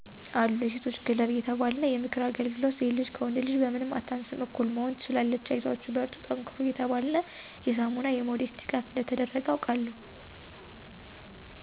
አሉ የሴቶች ከለብ እየተባልነ የምክር አገልግሎት ሴት ልጅ ከወንድ ልጅ በምንም አታንሰም እኩል መሆን ትችላለች አይዟችሁ በርቱ ጠንክሩ እየተባለነ የሳሞና የሞዴስ ድጋፈ እንደተደረገ አውቃለሁ።